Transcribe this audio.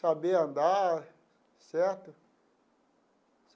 Sabia andar, certo?